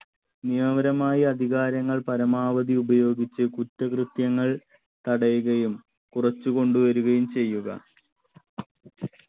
നിയമപരമായി അധികാരങ്ങൾ പരമാവധി ഉപയോഗിച്ച് കുറ്റകൃത്യങ്ങൾ തടയുകയും കുറച്ചുകൊണ്ടുവരുകയും ചെയ്യുക